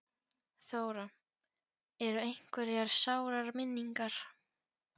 Þóra: Eru einhverjar sárar minningar?